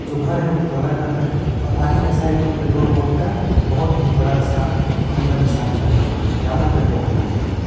जो घर है वो दो ताला घर है और आगे के साइड में एक पेट्रोल पंप का बहुत ही बड़ा सा हम लोग का निशानी लगा हुआ है कि यहां पर पेट्रोल पंप है।